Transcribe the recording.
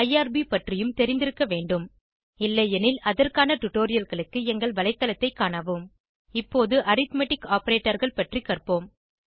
IRB பற்றியும் தெரிந்திருக்க வேண்டும் இல்லையெனில் அதற்கான டுடோரியல்களுக்கு எங்கள் வலைத்தளத்தைக் காணவும் இப்போது அரித்மெட்டிக் operatorகள் பற்றி கற்போம்